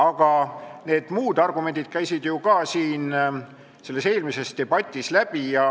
Aga need muud argumendid käisid ju ka sellest eelmisest debatist läbi.